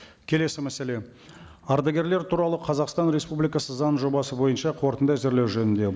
келесі мәселе ардагерлер туралы қазақстан республикасы заң жобасы бойынша қорытынды әзірлеу жөнінде